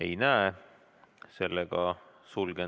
Ei näe.